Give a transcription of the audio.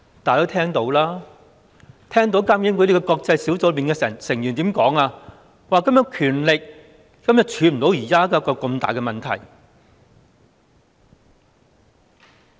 大家也聽到監警會的國際小組成員說，監警會的權力根本不能處理現時這個大問題。